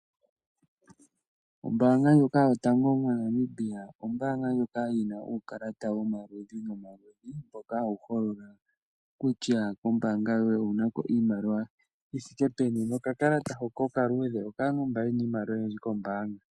Ombaanga ndjoka yotango moNamibia ,oyi na uukalata womaludhi nomaludhi mboka hawu holola kutya kombaanga owu na ko iimaliwa yi thike peni. Okakalata okaluudhe okaantu mba ye na iimaliwa oyindji kombaanga.